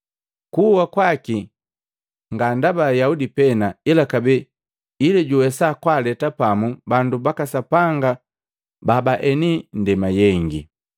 kuwa kwaki nga ndaba Ayaudi pena, ila kabee ili juwesa kwaaleta pamu bandu baka Sapanga babaeni ndema yengi.